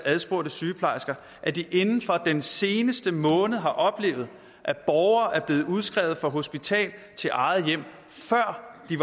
adspurgte sygeplejersker at de inden for den seneste måned har oplevet at borgere er blevet udskrevet fra hospitalet til eget hjem før de